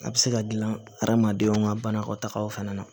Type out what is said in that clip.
A bɛ se ka dilan hadamadenw ka banakɔtagaw fana na